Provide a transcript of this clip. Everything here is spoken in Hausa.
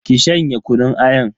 Ki shanye kunun ayan.